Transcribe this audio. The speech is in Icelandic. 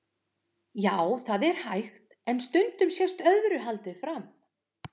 Já, það er hægt, en stundum sést öðru haldið fram.